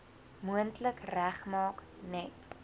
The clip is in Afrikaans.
moontlik regmaak net